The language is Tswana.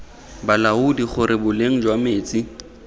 balaodi gore boleng jwa metsi